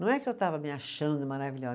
Não é que eu estava me achando maravilhosa.